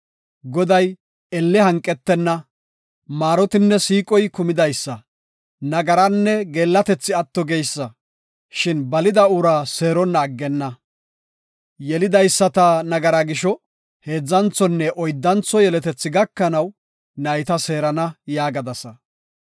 ‘Goday elle hanqetenna; maarotinne siiqoy kumidaysa nagaranne geellatethi atto geysa; shin balida uraa seeronna aggenna. Yelidaysata nagaraa gisho heedzanthonne oyddantho yeletethi gakanaw nayta seerana’ yaagadasa.